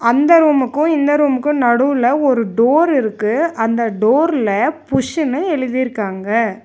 அந்த ரூமுக்கு இந்த ரூமுக்கு நடுல ஒரு டோர் இருக்கு அந்த டோர்ல புஷ்ன்னு எழுதிருக்காங்க.